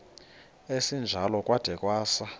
esinjalo kwada kwasa